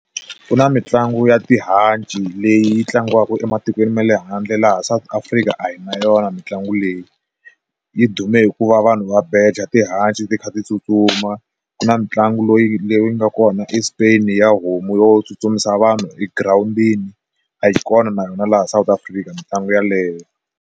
Ku na mitlangu ya tihanci leyi tlangiwaka ematikweni ma le handle laha South Africa a hi na yona mitlangu leyi yi dume hikuva vanhu va beja tihanci ti kha ti tsutsuma, ku na mitlangu loyi leyi nga kona eSpain ya homu yo tsutsumisa vanhu egirawundini a yi kona na yona laha South Africa mitlangu yeleyo.